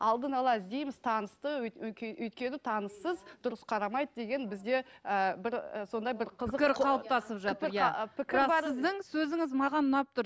алдын ала іздейміз танысты өйткені таныссыз дұрыс қарамайды деген бізде ііі бір сондай бір қызық бірақ сіздің сөзіңіз маған ұнап тұр